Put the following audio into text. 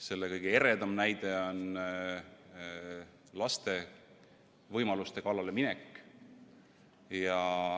Selle kõige eredam näide on laste võimaluste kallale minek.